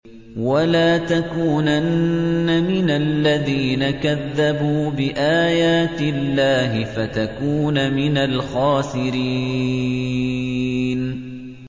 وَلَا تَكُونَنَّ مِنَ الَّذِينَ كَذَّبُوا بِآيَاتِ اللَّهِ فَتَكُونَ مِنَ الْخَاسِرِينَ